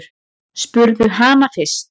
Spurðu hana fyrst.